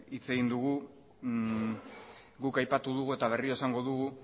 hitz egin dugu guk aipatu dugu eta berriro esango dugu